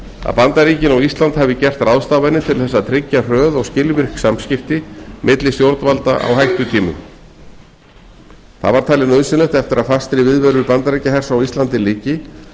að bandaríkin og ísland hafi gert ráðstafanir til þess að tryggja hröð og skilvirk samskipti milli stjórnvalda á hættutímum það var talið nauðsynlegt eftir að fastri viðveru bandaríkjahers á íslandi lyki